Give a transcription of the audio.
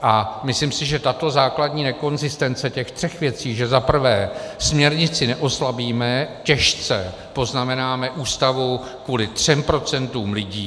A myslím si, že tato základní nekonzistence těch třech věcí, že za prvé směrnici neoslabíme, těžce poznamenáme Ústavu kvůli třem procentům lidí -